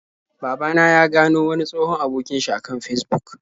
Baba na ya gano wani tsohon abokin sh a kan Fesbuk.